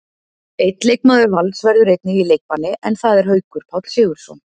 Einn leikmaður Vals verður einnig í leikbanni, en það er Haukur Páll Sigurðsson.